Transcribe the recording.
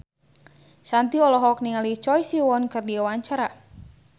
Shanti olohok ningali Choi Siwon keur diwawancara